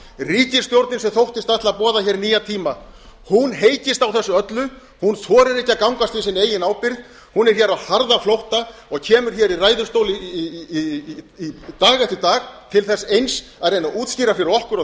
ríkisstjórnin sem þóttist ætla að boða hér nýja tíma hún heykist á þessu öllu hún þorir ekki að gangast við sinni eigin ábyrgð hún er hér á harðaflótta og kemur hér í ræðustól dag eftir dag til þess eins að reyna að útskýra fyrir okkur og